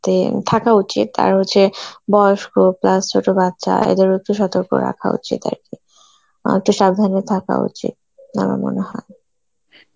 তে থাকা উচিত, আর হচ্ছে বয়স্ক plus ছোট বাচ্চা এদেরও একটু সতর্ক রাখা উচিত আর কি অ্যাঁ একটু সাবধানে থাকা উচিত আমার মনে হয়